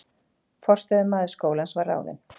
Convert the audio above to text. Forstöðumaður skólans var ráðinn